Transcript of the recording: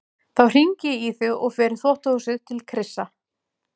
Þá hringi ég í þig og fer í þvottahúsið til Krissa.